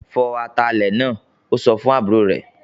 "Fọ atalẹ̀ náà!" Ó sọ fún àbúrò rẹ̀